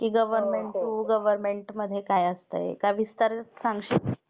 Government to गवर्नमेंटमध्ये काय असते? एका विस्तार सांगशील?